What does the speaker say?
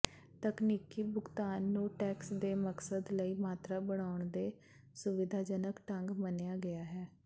ਤਕਨੀਕੀ ਭੁਗਤਾਨ ਨੂੰ ਟੈਕਸ ਦੇ ਮਕਸਦ ਲਈ ਮਾਤਰਾ ਬਣਾਉਣ ਦੇ ਸੁਵਿਧਾਜਨਕ ਢੰਗ ਮੰਨਿਆ ਗਿਆ ਹੈ